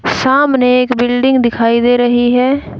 सामने एक बिल्डिंग दिखाई दे रही है।